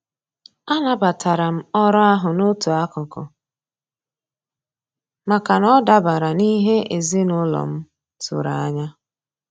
A nabatara m orụ ahụ n'otu akụkụ, maka na ọ dabara n'ihe ezinaụlọ m tụrụ anya.